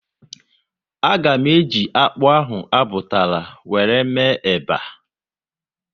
A ga eji akpụ ahụ a butara wéré mee eba